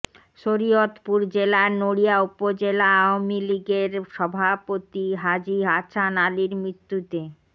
শরিয়তপুর জেলার নড়িয়া উপজেলা আওয়ামী লীগের সভাপতি হাজি হাছান আলীর মৃত্যুতে